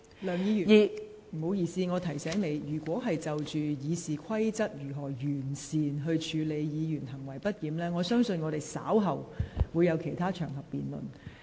梁議員，我要提醒你，就《議事規則》如何妥善處理議員行為不檢一事，我相信議員稍後可在其他場合進行辯論。